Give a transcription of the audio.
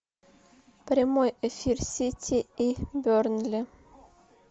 прямой эфир сити и бернли